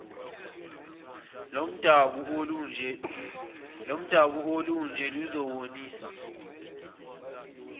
lomdabu olunje luzibonisa